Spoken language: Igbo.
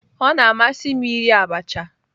Ọ na-amasị m iri abacha